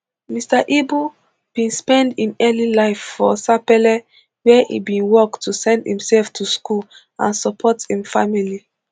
mr ibu bin spend im early life for sapele wia e bin work to send imself to school and support im family